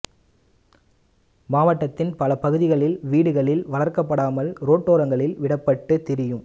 மாவட்டத்தின் பல பகுதிகளில் வீடுகளில் வளர்க்கப்படாமல் ரோட்டோரங்களில் விடப்பட்டு திரியும்